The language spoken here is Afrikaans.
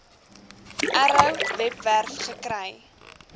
arrow webwerf gekry